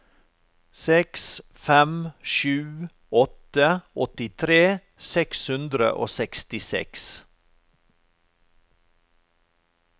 seks fem sju åtte åttitre seks hundre og sekstiseks